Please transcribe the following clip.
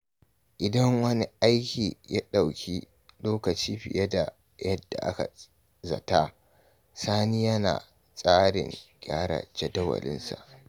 Idan wani aiki ya dauki lokaci fiye da yadda aka zata, Sani yana da tsarin gyara jadawalinsa.